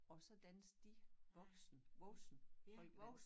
Og så dansede de voksen voksen folkedans